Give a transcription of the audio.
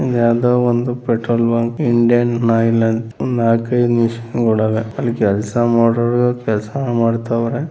ಇದು ಯಾವುದೋ ಒಂದು ಪೆಟ್ರೋಲ್‌ ಬಂಕ್‌ ಇಂಡಿಯನ್‌ ಆಯಿಲ್‌ ಅಂತಾ ನಾಲ್ಕು ಐದು ಮಿಷಿನ್‌ಗಳು ಇದೆ ಅಲ್ಲಿ ಕೆಲಸ ಮಾಡುವವರು ಕೆಲಸಾನೂ ಮಾಡ್ತಾವ್ರೆ.